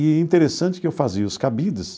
E é interessante que eu fazia os cabides,